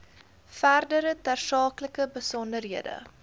verdere tersaaklike besonderhede